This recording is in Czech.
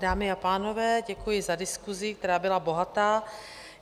Dámy a pánové, děkuji za diskusi, která byla bohatá.